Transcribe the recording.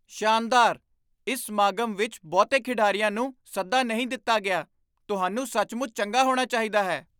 ਸ਼ਾਨਦਾਰ! ਇਸ ਸਮਾਗਮ ਵਿੱਚ ਬਹੁਤੇ ਖਿਡਾਰੀਆਂ ਨੂੰ ਸੱਦਾ ਨਹੀਂ ਦਿੱਤਾ ਗਿਆ। ਤੁਹਾਨੂੰ ਸੱਚਮੁੱਚ ਚੰਗਾ ਹੋਣਾ ਚਾਹੀਦਾ ਹੈ!